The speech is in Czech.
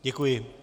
Děkuji.